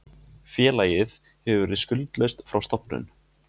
Félagið hefur verið skuldlaust frá stofnun